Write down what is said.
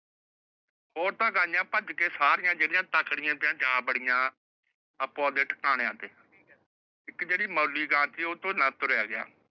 ਉਹ ਤਾਂ ਗਾਯੀਆਂ ਭੱਜ ਸਾਰੀਆਂ ਜੇੜੀਆਂ ਤਖੜੀਏਂ ਤੇ ਜਾ ਵੱਡੀਆਂ ਆਪੋ ਆਪ ਦੇ ਠਿਕਾਣਿਆਂ ਤੇ। ਇੱਕ ਜਿਹੜੀ ਮਰਲੀ ਗਾਂ ਸੀ ਉਤੋਂ ਨਾ ਤੁਰਿਆ ਗਿਆ।